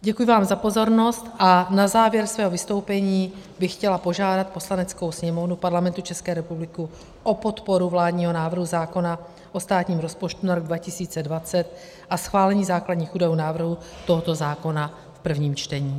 Děkuji vám za pozornost a na závěr svého vystoupení bych chtěla požádat Poslaneckou sněmovnu Parlamentu České republiky o podporu vládního návrhu zákona o státním rozpočtu na rok 2020 a schválení základních údajů návrhu tohoto zákona v prvním čtení.